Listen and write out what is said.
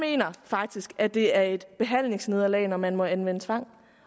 faktisk at det er et behandlingsnederlag når man må anvende tvang